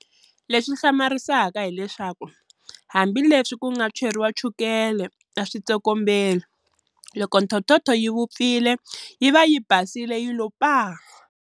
Lexi hlamarisaka hileswaku hambi leswi ku nga cheriwa chukele a swi tsokombeli. Loko thothotho yi vupfile yi va yi basile yi lo paa!